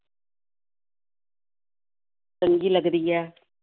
ਚੰਗੀ ਲੱਗਦੀ ਹੈ।